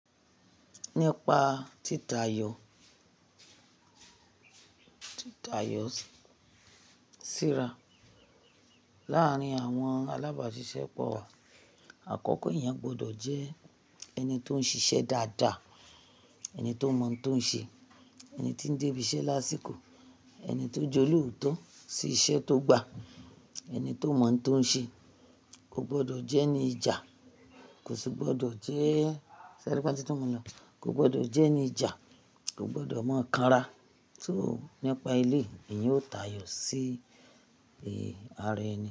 Nípa títa yọ tíra láàárín àwọn alábàáṣiṣẹ́ pọ̀, àkọ́kọ́ èèyàn gbọdọ̀ jẹ́ ẹni tó ń ṣiṣẹ́ dáadáa, ẹni tó mọ̀ tó ń ṣe, ẹni tí ń dé ibiṣẹ́ lásìkò, ẹni tó jẹ lotọ sí iṣẹ́ tó gba, ẹni tó mọ̀ tó ń ṣe, kò gbọdọ̀ jẹ́ ẹni ìjà, kò sì gbọdọ̀ jẹ́, sẹ́rípẹ́ tí tọ́ mọ̀ lọ, kò gbọdọ̀ jẹ́ ẹni ìjà, kò gbọdọ̀ mọ̀ ká ra. So, nípa lèyí, èèyàn yóò tayọ̀ sí ara ẹni.